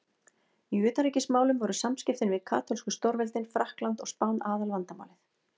Í utanríkismálum voru samskiptin við katólsku stórveldin Frakkland og Spán aðalvandamálið.